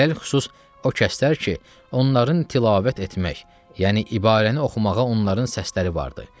Ələlxüsus o kəslər ki, onların tilavət etmək, yəni ibarəni oxumağa onların səsləri vardır.